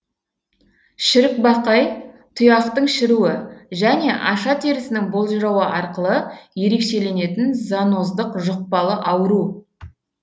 шірікбақай тұяқтың шіруі және аша терісінің болжырауы арқылы ерекшеленетін зоноздық жүқпалы ауру